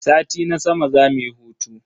Sati na sama zamu yi hutu.